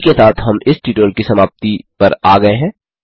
इसी के साथ हम इस ट्यूटोरियल की समाप्ति पर आ गये हैं